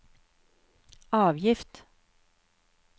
avgift